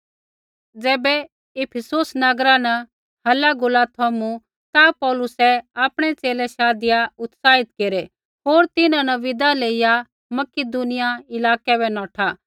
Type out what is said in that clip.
ज़ैबै इफीसुस नगरा न हलागुला थमू ता पौलुसै आपणै च़ेले शाधिया उत्साहित केरै होर तिन्हां न विदा लेईया मकिदुनिया इलाकै बै नौठा